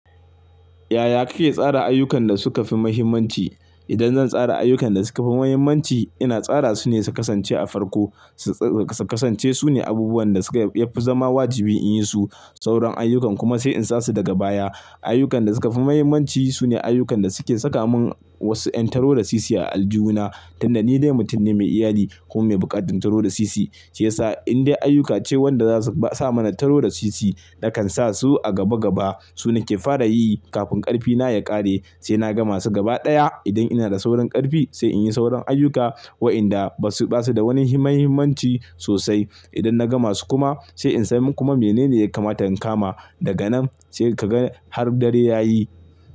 Yaya kake tsara ayyukan da suka fi muhimmanci? Idan zan tsara ayyukan da suka fi muhimmanci, ina tsara su ne su kasance a farko, su kasance su ne abubuwan da yafi zama wajibi in yi su. Sauran ayyukan kuma sai in sa su daga baya. Ayyukan da suka fi muhimmanci sune ayyukan da suke saka mun wasu yan taro da sisi a aljihu na, tunda ni dai mutum ne mai iyali kuma mai buƙatar taro da sisi. Shi yasa in dai ayyuka ce wanda zasu sa mana taro da sisi, nakan sa su a gaba gaba. Su nake fara yi kafin karfi na ya ƙare, sai na gama su gaba ɗaya. Idan ina da sauran ƙarfi sai in yi sauran ayyuka waɗanda ba su da wani muhimmanci sosai. Idan na gama su kuma sai in san kuma mene ne ya kamata in kama daga nan sai ka ga har dare ya yi.